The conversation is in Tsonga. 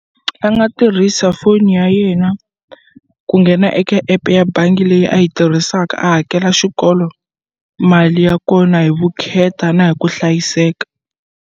A nga tirhisa foni ya yena ku nghena eka app ya bangi leyi a yi tirhisaka a hakela xikolo mali ya kona hi vukheta na hi ku hlayiseka.